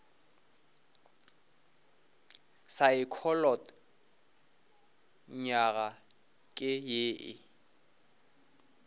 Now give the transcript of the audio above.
saekholot nywaga ke ye e